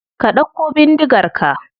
Ka dauko bindigar ka.